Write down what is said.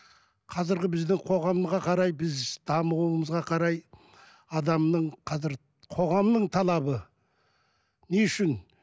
қазіргі бізді қоғамға қарай біз дамуымызға қарай адамның қазір қоғамның талабы не үшін